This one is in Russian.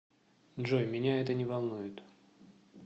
джой меня это не волнует